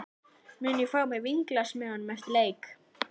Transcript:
Mun ég fá mér vínglas með honum eftir leik?